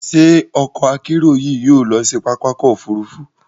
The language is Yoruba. Ṣé ọkọ-akerò yìí yóò lọ si pápá ọkọ̀ òfurufú?